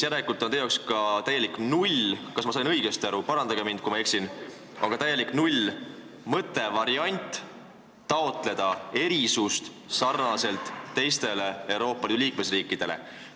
Järelikult on teie jaoks ka täielik null – ma ei tea, kas ma sain õigesti aru, parandage mind, kui ma eksin – mõte taotleda erisust sarnaselt teiste Euroopa Liidu liikmesriikidega?